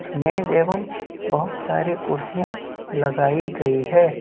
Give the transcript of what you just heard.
मेज एवं बहुत सारे कुर्सियां लगाई गई है।